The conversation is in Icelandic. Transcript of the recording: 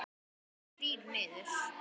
Þrír niður.